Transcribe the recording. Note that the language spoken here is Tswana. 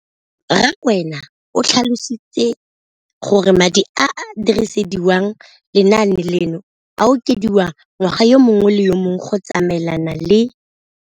Rakwena o tlhalositse gore madi a a dirisediwang lenaane leno a okediwa ngwaga yo mongwe le yo mongwe go tsamaelana le